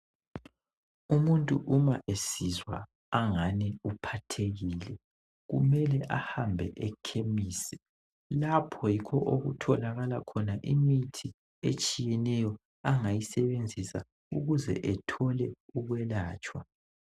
Umuntu uma esizwa angani uphathekile kumele ahambe ekhemisi lapho yikho okutholakala khona imithi etshiyeneyo angayisebenzisa ukuze ethole ukwelatshwa.